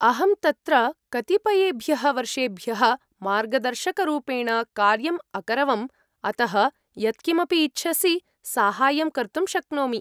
अहं तत्र कतिपयेभ्यः वर्षेभ्यः मार्गदर्शकरूपेण कार्यम् अकरवम्, अतः यत्किमपि इच्छसि साहाय्यं कर्तुं शक्नोमि।